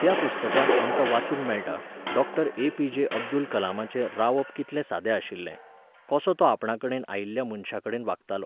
त्या पुस्तकांत आमकां वाचूंक मेळटा, डॉक्टर ए.पी.जे. अब्दुल कलामाचें रावप कितलें सादें आशिल्लें, कसो तो आपणाकडेन आयिल्ल्या मनशांकडेन वागतालो.